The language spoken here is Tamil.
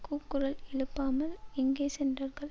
கூக்குரல் எழுப்பாமல் எங்கே சென்றார்கள்